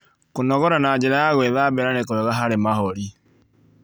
Kũnogora na njĩra ya gwĩthambĩra nĩ kwega harĩ mahũrĩ